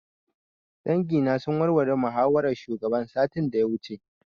Dangi na sun warware muhawaran shugaban satin da ya wuce